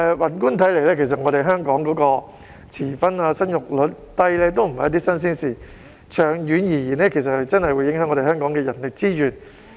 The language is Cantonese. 宏觀地看，香港遲婚和生育率低的問題也不是新鮮事，但長遠而言，這樣的確會影響到香港的人力資源。